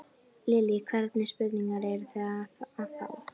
Lillý: Hvernig spurningar eruð þið að fá?